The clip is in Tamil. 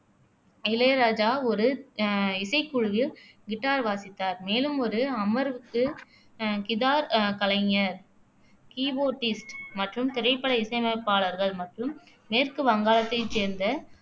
இளையராஜா ஒரு அஹ் இசைக்குழுவில் கிட்டார் வாசித்தார் மேலும் ஒரு அமர்வுகு அஹ் கிதார் கலைஞர் கீபோர்டிஸ்ட் மற்றும் திரைப்பட இசையமைப்பாளர்கள் மற்றும் மேற்கு வங்காளத்தைச் சேர்ந்த